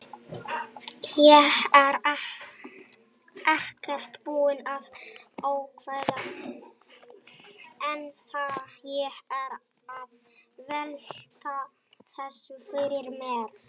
Ég er ekkert búinn að ákveða ennþá, ég er að velta þessu fyrir mér.